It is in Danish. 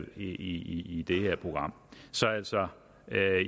i det her program så altså